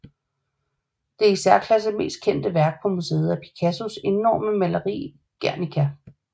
Det i særklasse mest kendte værk på museet er Picasso enorme maleri Guernica